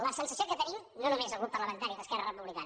la sensació que tenim no només el grup parlamentari d’esquerra republicana